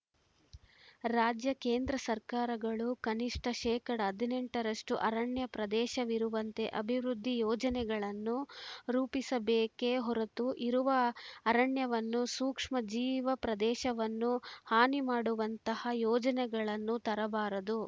ರಾಜ್ಯ ಕೇಂದ್ರ ಸರ್ಕಾರಗಳು ಕನಿಷ್ಟ ಶೇಕಡಾ ಹದಿನೆಂಟರಷ್ಟು ಅರಣ್ಯ ಪ್ರದೇಶವಿರುವಂತೆ ಅಭಿವೃದ್ಧಿ ಯೋಜನೆಗಳನ್ನು ರೂಪಿಸಬೇಕೆ ಹೊರತು ಇರುವ ಅರಣ್ಯವನ್ನು ಸೂಕ್ಷ್ಮ ಜೀವ ಪ್ರದೇಶವನ್ನು ಹಾನಿ ಮಾಡುವಂತಹ ಯೋಜನೆಗಳನ್ನು ತರಬಾರದು